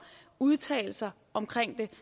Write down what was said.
udtalelser om det